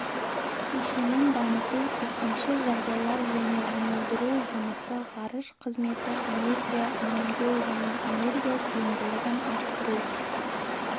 кешенін дамыту төтенше жағдайлар және жұмылдыру жұмысы ғарыш қызметі энергия үнемдеу және энергия тиімділігін арттыру